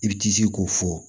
I bi t'i ji k'o fɔ